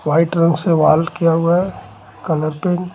White रंग से wall किया हुआ है कलर पेंट .